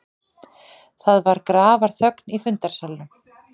Það var grafarþögn í fundarsalnum.